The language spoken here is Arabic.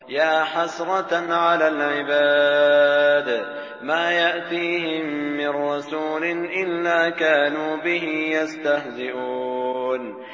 يَا حَسْرَةً عَلَى الْعِبَادِ ۚ مَا يَأْتِيهِم مِّن رَّسُولٍ إِلَّا كَانُوا بِهِ يَسْتَهْزِئُونَ